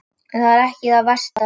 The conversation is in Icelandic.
En það er ekki það versta.